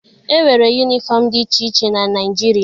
E nwere yunifọm dị iche iche na Naịjirịa.